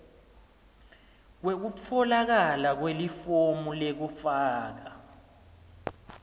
kwekutfolakala kwelifomu lekufaka